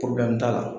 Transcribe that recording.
t'a la